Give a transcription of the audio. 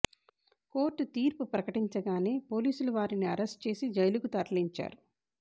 court తీర్పు ప్రకటించగానే పోలీసులు వారిని అరెస్ట్ చేసి జైలుకు తరలించారు